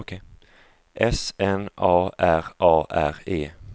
S N A R A R E